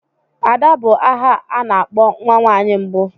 Ada bụ aha a na-akpọ nwa nwaanyị mbụ.